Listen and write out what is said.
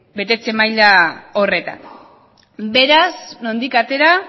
betetze maila horretan beraz nondik atera